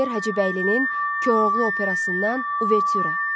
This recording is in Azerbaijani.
Üzeyir Hacıbəylinin Koroğlu Operasından Uvertüra.